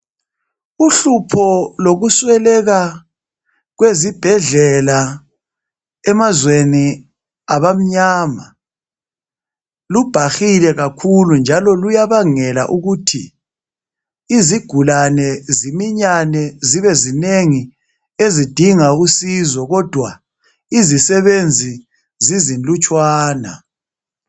Uhlupho lokusweleka kwesibhedlela emazweni abamnyama lubhahile kakhulu njalo luyabangela ukuthi izigulane ziminyane zibe zinengi ezidinga usizo kodwa izisebenzi zizilutshwana.